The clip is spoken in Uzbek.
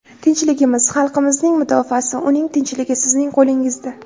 Tinchligimiz, xalqimizning mudofaasi, uning tinchligi sizning qo‘lingizda.